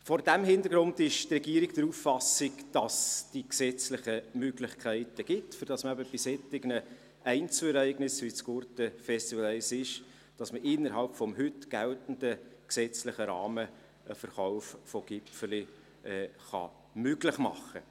Vor diesem Hintergrund ist die Regierung der Auffassung, dass es die gesetzlichen Möglichkeiten gibt, bei solchen Einzelereignissen, wie es das Gurtenfestival darstellt, innerhalb des heute geltenden Rahmens einen Verkauf von Gipfeli möglich zu machen.